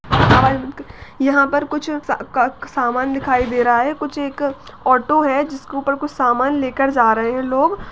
आवाज बंद कर। यहाँ पर कुछ स-क सामान दिखाई दे रहा है कुछ एक ऑटो है जिसके ऊपर कुछ सामान लेकर जा रहे हैं लोग।